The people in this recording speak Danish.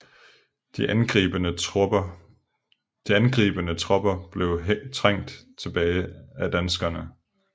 De angribende tropper blev trængt tilbage af danskerne